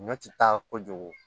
Ɲɔ ti taa kojugu